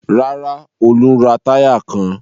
Rárá, Olú ń ra táyà kan.